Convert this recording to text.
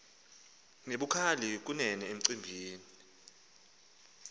nebukhali kunene emicimbini